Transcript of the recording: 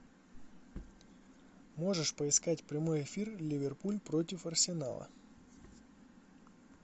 можешь поискать прямой эфир ливерпуль против арсенала